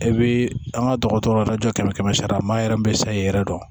E bɛ an ka dɔgɔtɔrɔ lajɔ kɛmɛ kɛmɛ sara la maa yɛrɛ bɛ se k'i yɛrɛ dɔn